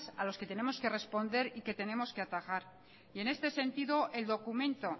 a los que tenemos que responder y que tenemos que atajar y en este sentido el documento